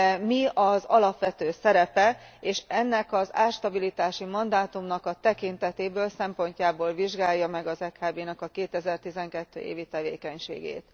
mi az alapvető szerepe, és ennek az árstabilitási mandátumnak a tekintetéből, szempontjából vizsgálja meg az EKB 2012. évi tevékenységét.